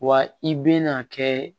Wa i bɛna kɛ